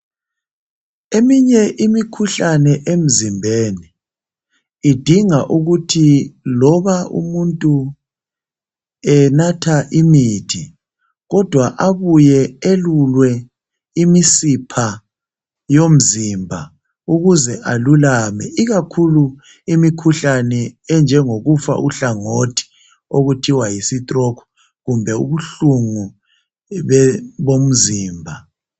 Eminye imikhuhlane emzimbeni idinga ukuthi loba umuntu enatha imithi kodwa abuye elulwe imisipha yomzimba ukuze alulame, ikakhulu imikhuhlane enjengokufa uhlangothi okuthiwa yi stroke kumbe ubuhlungu bomzimba